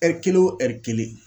kelen wo kelen.